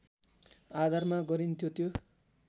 आधारमा गरिन्थ्यो त्यो